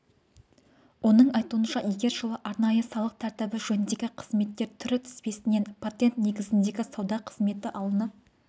оның айтуынша егер жылы арнайы салық тәртібі жөніндегі қызметтер түрі тізбесінен патент негізіндегі сауда қызметі алынып